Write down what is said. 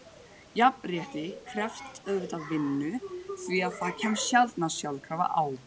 Jafnrétti krefst auðvitað vinnu því það kemst sjaldnast sjálfkrafa á.